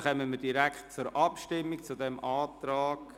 Dann kommen wir direkt zu den Abstimmungen.